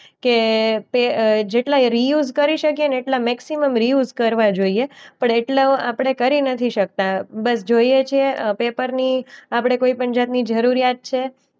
કે પે અ જેટલા રિયુઝ કરી શકેને એટલા મેક્સિમમ રિયુઝ કરવા જોઈએ. પણ એટલો આપણે કરી નથી શકતા. બસ જોઈએ છે અ પેપરની આપણે કોઈ પણ જાતની જરૂરિયાત છે?